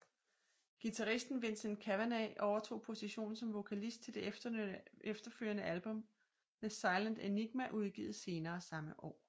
Guitaristen Vincent Cavanagh overtog positionen som vokalist til det efterfølgende album The Silent Enigma udgivet senere samme år